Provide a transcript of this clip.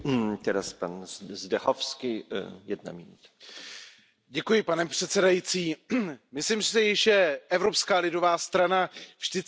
Pane předsedající, myslím si, že Evropská lidová strana vždycky byla na straně těch, kteří jsou ve světě pronásledováni.